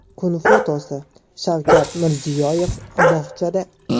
Kun fotosi: Shavkat Mirziyoyev bog‘chada.